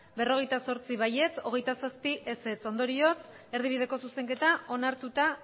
berrogeita zortzi ez hogeita zazpi ondorioz erdibideko zuzenketa onartuta